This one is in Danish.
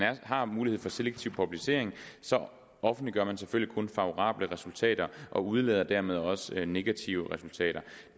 har mulighed for selektiv publicering så offentliggør man selvfølgelig kun favorable resultater og udelader dermed også negative resultater